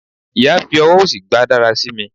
iya fi ọwọ osí gba darasimi